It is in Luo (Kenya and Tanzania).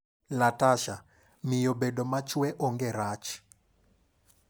Latasha: Miyo bedo machwe onge rach.